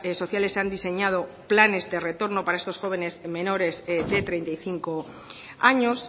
sociales han diseñado planes de retorno para estos jóvenes menores de treinta y cinco años